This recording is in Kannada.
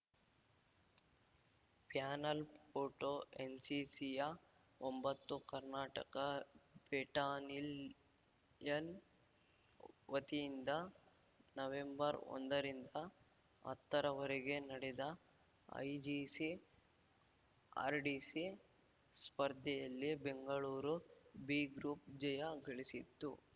ಪ್ಯಾನಲ್‌ ಫೋಟೋ ಎನ್‌ಸಿಸಿಯ ಒಂಬತ್ತು ಕರ್ನಾಟಕ ಬೆಟಾನಿಲ್ ಯನ್ ವತಿಯಿಂದ ನವೆಂಬರ್‌ ಒಂದ ರಿಂದ ಹತ್ತರವರೆಗೆ ನಡೆದ ಐಜಿಸಿ ಆರ್‌ಡಿಸಿ ಸ್ಪರ್ಧೆಯಲ್ಲಿ ಬೆಂಗಳೂರು ಬಿ ಗ್ರೂಪ್‌ ಜಯ ಗಳಿಸಿತ್ತು